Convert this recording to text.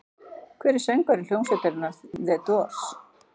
Hver var söngvari hljómsveitarinnar The Doors?